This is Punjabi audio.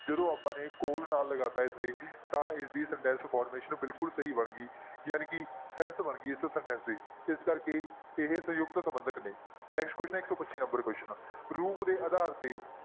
ਜਦੋਂ ਆਪਾਂ ਨੇ ਕੋਲ ਨਾਲ ਲਗਾ ਦਿੱਤਾ ਇਸਦੇ ਤਾਂ ਇਸਦੀ sentence formation ਬਿਲਕੁਲ ਸਹੀ ਬਣ ਗਈ ਜਾਣੀ ਕਿ sense ਬਣ ਗਈ ਇਸ sentence ਦੀ, ਇਸ ਕਰਕੇ ਇਹ ਸੰਯੁਕਤ ਸੰਬੰਧਕ ਨੇ next question ਹੈ ਇੱਕ ਸੌ ਪੱਚੀ number question ਰੂਪ ਦੇ ਆਧਾਰ ਤੇ